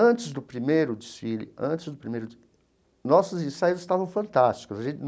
Antes do primeiro desfile, antes do primeiro de, nossos ensaios estavam fantásticos.